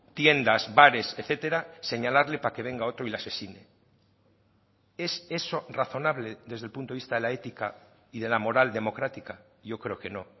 tiendas bares etcétera señalarle para que venga otro y le asesine es eso razonable desde el punto de vista de la ética y de la moral democrática yo creo que no